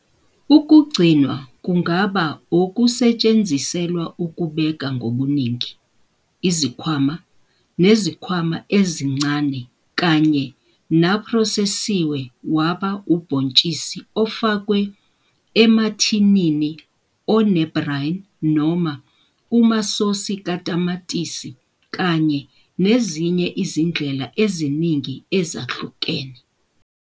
Ukugcinwa kungaba okusetshenziselwa ukubeka ngobuningi, izikhwama, nezikhwama ezincane kanye naphrosesiwe waba ubhontshisi ofakwe emathinini one-brine noma kumasosi katamatisi kanye nezinye izindlela eziningi ezahlukene.